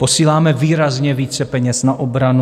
Posíláme výrazně více peněz na obranu.